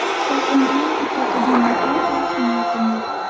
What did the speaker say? Farzandimni otasidan mahrum qilish niyatim yo‘q.